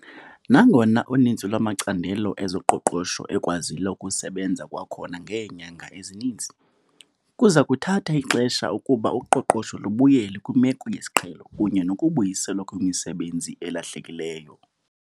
Nangona uninzi lwamacandelo ezoqoqosho ekwazile ukusebenza kwakhona ngeenyanga ezininzi, kuza kuthatha ixesha ukuba uqoqosho lubuyele kwimeko yesiqhelo kunye nokubuyiselwa kwemisebenzi elahlekileyo.